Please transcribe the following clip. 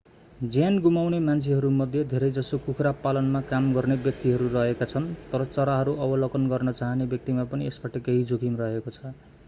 ज्यान गुमाउने मान्छेहरूमध्ये धेरैजसो कुखुरा पालनमा काम गर्ने व्यक्तिहरू रहेका छन् तर चराहरू अवलोकन गर्न चाहने व्यक्तिमा पनि यसबाट केही जोखिम रहेको छ